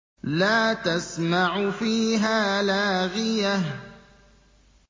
لَّا تَسْمَعُ فِيهَا لَاغِيَةً